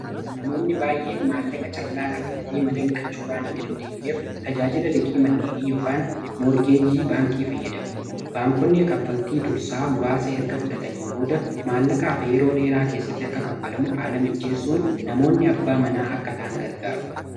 Namoonni baay'een maallaqa callaa qabatanii mana bitachuu waan hin dandeenyeef tajaajila liqii manneenii yookaan moorgeejii baankii fayyadamu baankonni kaffaltii dursaa muraasa erga fudhatanii booda maallaqa hafe yeroo dheeraa keessatti akka kaffalamu haala mijjeessuun namoonni abbaa manaa akka ta'an gargaaru.